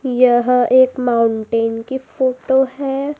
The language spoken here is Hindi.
यह एक माउंटेन की फोटो है।